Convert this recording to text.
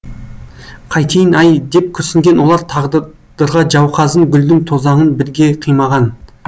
қайтейін ай деп күрсінген олар тағдырға жауқазын гүлдің тозаңын бірге қимаған